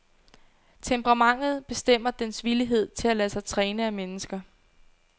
Temperamentet bestemmer dens villighed til at lade sig træne af mennesker.